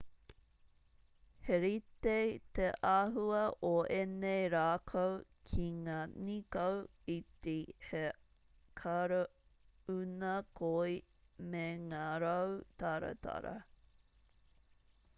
he rite te āhua o ēnei rākau ki ngā nīkau iti he karauna koi me ngā rau taratara